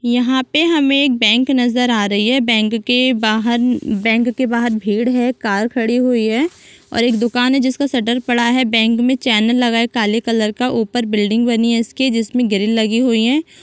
यहाँ पे हमें एक बैंक नजर आ रही है बैंक के बाहर बैंक के बाहर भीड़ है कार खड़ी हुई है और एक दुकान है जिसमे शटर पड़ा है बैंक में चैनल लगा है काले कलर का ऊपर बिल्डिंग बनी है जिसमे ग्रिल लगी हुई है।